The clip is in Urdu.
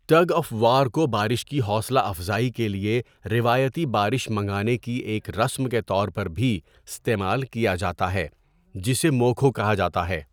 ٹگ آف وار کو بارش کی حوصلہ افزائی کے لیے روایتی بارش منگانے کی ایک رسم کے طور پر بھی استعمال کیا جاتا ہے، جسے مو کھو کہا جاتا ہے۔